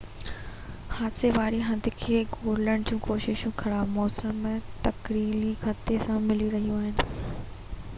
حادثي واري هنڌ کي ڳولڻ جون ڪوششون خراب موسم ۽ ٽڪريلي خطي سان ملي رهيون آهن